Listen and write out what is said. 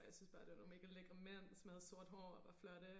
Og jeg syntes bare det var nogle mega lækre mænd som havde sort hår og var flotte